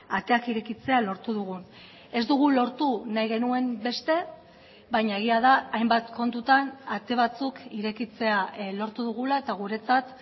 ateak irekitzea lortu dugun ez dugu lortu nahi genuen beste baina egia da hainbat kontutan ate batzuk irekitzea lortu dugula eta guretzat